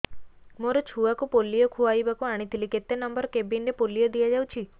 ମୋର ଛୁଆକୁ ପୋଲିଓ ଖୁଆଇବାକୁ ଆଣିଥିଲି କେତେ ନମ୍ବର କେବିନ ରେ ପୋଲିଓ ଦିଆଯାଉଛି